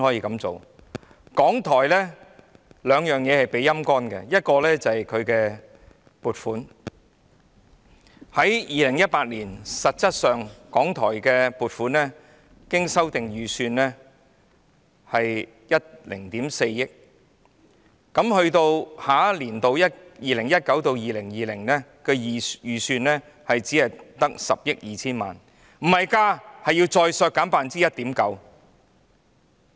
港台在兩方面被"陰乾"，一方面是撥款 ，2018 年港台的修訂預算為10億 4,000 萬元，而下年度，即 2019-2020 年度的預算只有10億 2,000 萬元，撥款沒有增加，而是再削減 1.9%。